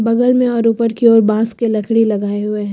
बगल मे और ऊपर की ओर बांस के लकड़ी लगाए हुए हैं।